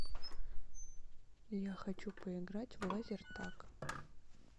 я хочу поиграть в лазертаг